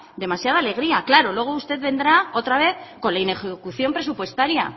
demasiada alegría claro luego usted vendrá otra vez con la inejecución presupuestaria